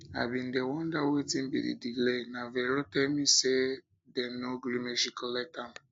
i bin dey wonder wetin be the delay na vero tell me say dem no gree make she collect am